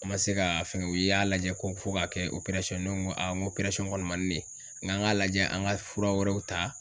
An ma se ka fɛn kɛ u y'a lajɛ ko fo k'a kɛ ye ne ko ŋo ŋ' kɔni man ne, ŋ'an ŋ'a lajɛ an ŋa fura wɛrɛw ta